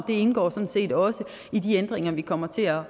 det indgår sådan set også i de ændringer vi kommer til at